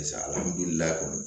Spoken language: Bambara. Sisan alihamdulila